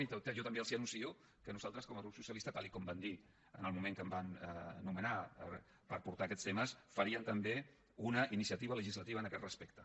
i jo també els anuncio que nosaltres com a grup socialista tal com vam dir en el moment que em van nomenar per portar aquests temes faríem també una iniciativa legislativa a aquest respecte